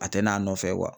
A tɛ n'a nɔfɛ